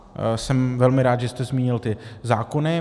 Jsem velmi rád, že jste zmínil ty zákony.